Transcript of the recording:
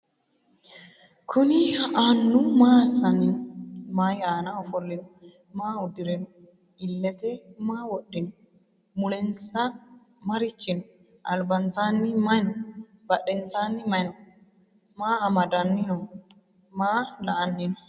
kuuni annu maa asanni noo? maayi anna oofolino? maa uudirino? iillete maa wodhinno? mulensa maarichi noo? albansanni mayi noo? badhensanni mayi noo? maa amadani noo? maa la"ani noo?